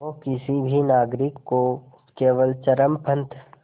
वो किसी भी नागरिक को केवल चरमपंथ